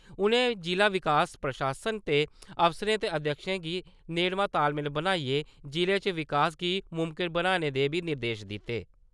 उ'नें जि'ला प्रशासन दे अफसरें ते अध्यक्षएं गी नेड़मा तालमेल बनाइयै जि'ले च विकास गी मुमकन बनाने दे बी निर्देश दित्ते ।